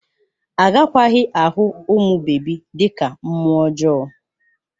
Agakwaghị ahụ ụmụ bebi dị ka mmụọ ọjọọ